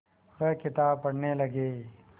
वह किताब पढ़ने लगे